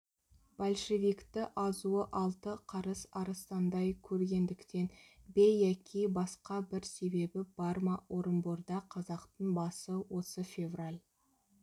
большевикті азуы алты қарыс арыстандай көргендіктен бе яки басқа бір себебі бар ма орынборда қазақтың басы осы февраль